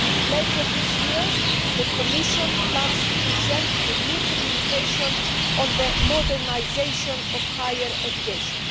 Later this year, the Commission plans to present a new Communication on the modernisation of higher education.